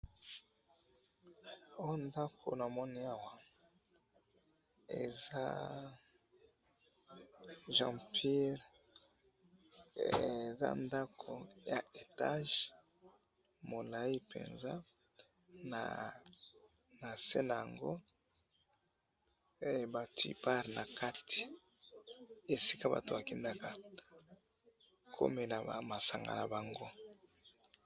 oyo ndaku namoni awa eza jaipur eza ndaku ya etage ,mulayi penza na se nango he batiye barre nakati esika bato bakendaka komela masanga nabango